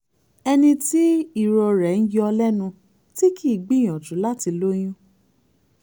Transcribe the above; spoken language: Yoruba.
ẹni tí irorẹ́ ń yọ lẹ́nu tí kì í gbìyànjú láti lóyún